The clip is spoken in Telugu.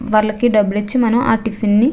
వాళ్ళకి డబ్బులిచ్చి మనం ఆ టిఫిన్ ని --